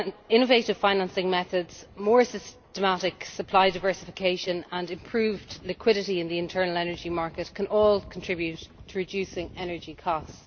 Innovative financing methods, more systematic supply diversification and improved liquidity in the internal energy market can all contribute to reducing energy costs.